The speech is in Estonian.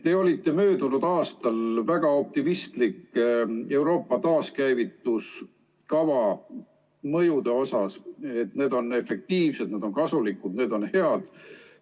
Te olite möödunud aastal väga optimistlik Euroopa taaskäivituskava mõjude suhtes: need on efektiivsed, need on kasulikud, need on head.